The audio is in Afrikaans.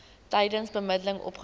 tydens bemiddeling opgelos